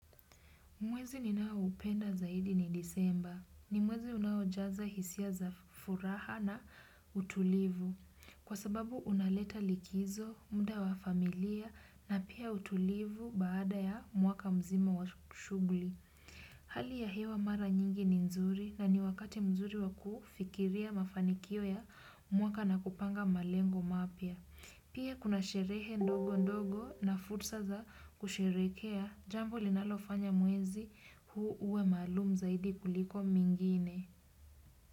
Mwezi ninaoupenda zaidi ni disemba. Ni mwezi unaojaza hisia za furaha na utulivu. Kwa sababu unaleta likizo, muda wa familia na pia utulivu baada ya mwaka mzima wa shughuli. Hali ya hewa mara nyingi ni nzuri na ni wakati mzuri wa kufikiria mafanikio ya mwaka na kupanga malengo mapya. Pia kuna sherehe ndogo ndogo na fursa za kusherehekea, jambo linalofanya mwezi huu uwe maalumu zaidi kuliko mingine.